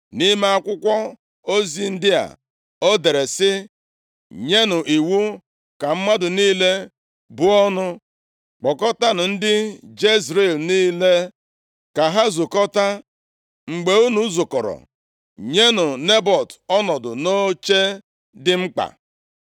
Nʼime akwụkwọ ozi ndị a, o dere sị, “Nyenụ iwu ka mmadụ niile buo ọnụ. Kpọkọtaanụ ndị Jezril niile, ka ha zukọta. Mgbe unu zukọrọ, nyenụ Nebọt ọnọdụ nʼoche dị mkpa.